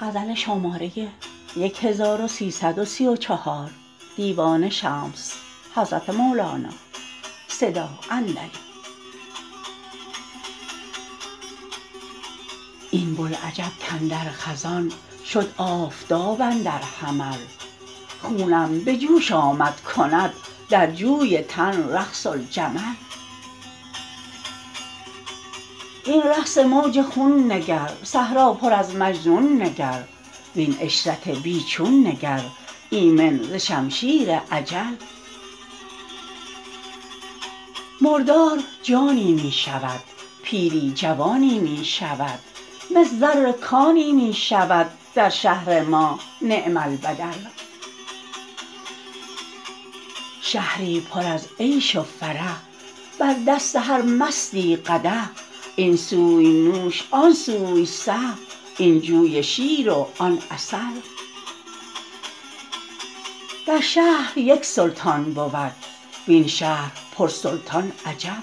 این بوالعجب کاندر خزان شد آفتاب اندر حمل خونم به جوش آمد کند در جوی تن رقص الجمل این رقص موج خون نگر صحرا پر از مجنون نگر وین عشرت بی چون نگر ایمن ز شمشیر اجل مردار جانی می شود پیری جوانی می شود مس زر کانی می شود در شهر ما نعم البدل شهری پر از عشق و فرح بر دست هر مستی قدح این سوی نوش آن سوی صح این جوی شیر و آن عسل در شهر یک سلطان بود وین شهر پرسلطان عجب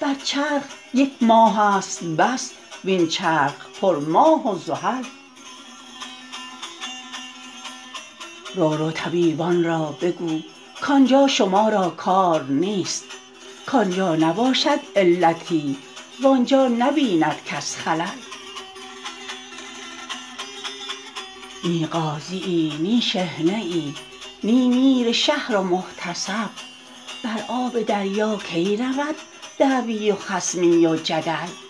بر چرخ یک ماهست بس وین چرخ پرماه و زحل رو رو طبیبان را بگو کان جا شما را کار نیست کان جا نباشد علتی وان جا نبیند کس خلل نی قاضیی نی شحنه ای نی میر شهر و محتسب بر آب دریا کی رود دعوی و خصمی و جدل